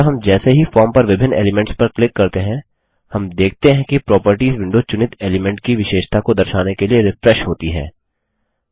अतः हम जैसे ही हम फॉर्म पर विभिन्न एलीमेंट्स पर क्लिक करते हैं हम देखते हैं कि प्रॉपर्टीज विंडो चुनित एलीमेंट की विशेषता को दर्शाने के लिए रिफ्रेश होती है